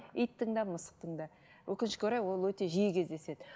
иттің де мысықтың да өкінішке орай ол өте жиі кездеседі